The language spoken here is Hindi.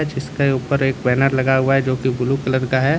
इसके ऊपर एक बैनर लगा हुआ है जोकि ब्लू कलर का है।